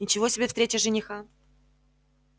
ничего себе встреча жениха